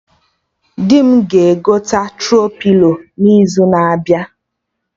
Di m ga-egote Tro-pilo n'izu na-abịa